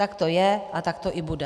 Tak to je a tak to i bude.